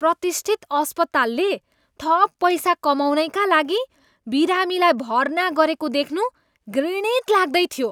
प्रतिष्ठित अस्पतालले थप पैसा कमाउनैका लागि बिरामीलाई भर्ना गरेको देख्नु घृणित लाग्दैथियो।